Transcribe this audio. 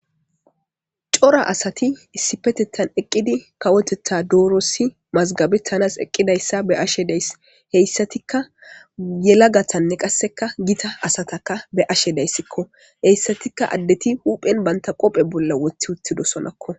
Cora asati issippeteththan eqqidi kawoteththa doross masigabetaniss eqidayissa be'ashshe de'ayiss.beyissatikka yelagatane qassekka Gita asatakka be'ashshe dayisskko .heyissatikka adeti huphphenni banita qoppe bolla woththi uttidosonakko .